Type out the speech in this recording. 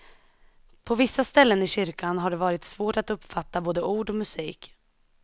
På vissa ställen i kyrkan har det varit svårt att uppfatta både ord och musik.